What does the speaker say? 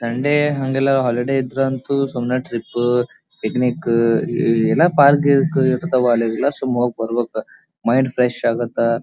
Sunday ಹಂಗೆಲ್ಲಾ holiday ಇದ್ರಂತೂ ಸುಮ್ನೆ ಟ್ರಿಪ್ಪ ಪಿಕ್ನಿಕ್ಕ ಎ ಎಲ್ಲ ಪಾರ್ಕ್ ಗಿರ್ಕ್ ಇರ್ತಾವಲ್ಲ ಅಲ್ಲೆಲ್ಲ ಹಾಗ್ ಬರ್ಬೇಕು ತಾನೇ ಮೈಂಡ್ ಫ್ರೆಶ್ ಆಗತ್ತಾ.